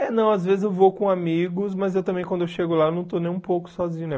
É, não, às vezes eu vou com amigos, mas eu também, quando eu chego lá, eu não estou nem um pouco sozinho, né?